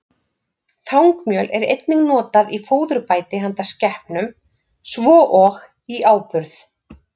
Þangmjöl er einnig notað í fóðurbæti handa skepnum, svo og í áburð.